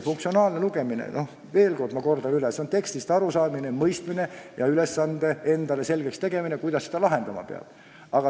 Funktsionaalne lugemine – ma kordan veel kord, see on tekstist arusaamine, teksti mõistmine ja ülesande endale selgeks tegemine, mõistmine, kuidas seda lahendama peab.